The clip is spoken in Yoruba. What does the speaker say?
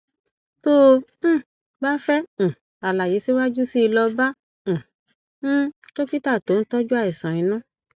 tó o um bá fẹ um àlàyé síwájú sí i lọ bá um um dókítà tó ń tọjú àìsàn inú